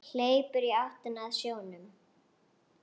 Hleypur í áttina að sjónum.